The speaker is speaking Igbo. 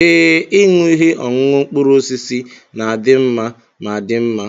Ee, ịṅụ ihe ọṅụṅụ mkpụrụ osisi na-adị mma ma dị mma.